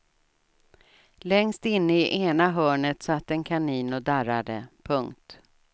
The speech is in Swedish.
Längst inne i ena hörnet satt en kanin och darrade. punkt